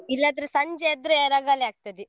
ಇಲ್ಲಾದ್ರೆ ಸಂಜೆ ಆದ್ರೆ ರಾಗಾಳೆ ಆಗ್ತದೆ.